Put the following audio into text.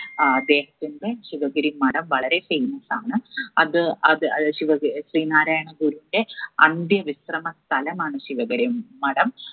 ഏർ അദ്ദേഹത്തിന്റെ ശിവഗിരി മഠം വളരെ famous ആണ്. അത് അത് അഹ് ശിവഗിരി ശ്രീനാരായണ ഗുരുവിന്റെ അന്ത്യവിശ്രമ സ്ഥലമാണ് ശിവഗിരി മഠം